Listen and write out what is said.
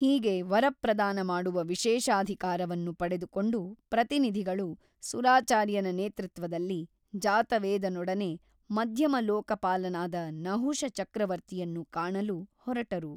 ಹೀಗೆ ವರಪ್ರದಾನ ಮಾಡುವ ವಿಶೇಷಾಧಿಕಾರವನ್ನು ಪಡೆದುಕೊಂಡು ಪ್ರತಿನಿಧಿಗಳು ಸುರಾಚಾರ್ಯನ ನೇತೃತ್ವದಲ್ಲಿ ಜಾತವೇದನೊಡನೆ ಮಧ್ಯಮಲೋಕಪಾಲನಾದ ನಹುಷ ಚಕ್ರವರ್ತಿಯನ್ನು ಕಾಣಲು ಹೊರಟರು.